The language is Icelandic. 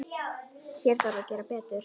Hér þarf að gera betur.